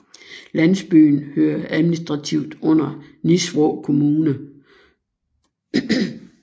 Landsbyen hører administrativt under Nisvrå kommune